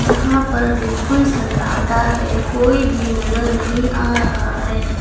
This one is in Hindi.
यहां पर बिल्कुल सन्नाटा है कोई भी नजर नहीं आ रहा है।